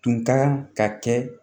Tun ka kan ka kɛ